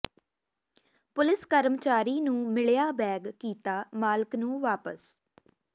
police ਕਰਮਚਾਰੀ ਨੂੰ ਮਿਲਿਆ ਬੈਗ ਕੀਤਾ ਮਾਲਕ ਨੂੰ ਵਾਪਸ